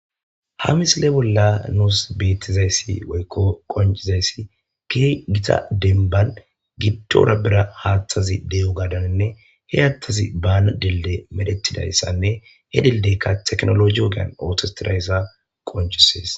Ha misile bolla nuus beettizayssi woykko qoncizayssi ke gita denban gibtora bira haaththazi de'o gaadaninne he attazi baana delde medetidayssanne he deldeykka teknologi ogean aotostirayssa qoncisees.